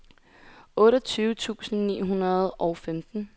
otteogtyve tusind ni hundrede og femten